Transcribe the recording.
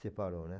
Separou, né?